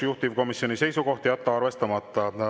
Juhtivkomisjoni seisukoht on jätta arvestamata.